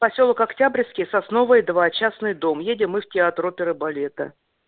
посёлок октябрьский сосновая два частный дом едем мы в театр оперы и балета